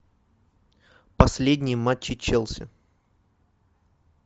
последние матчи челси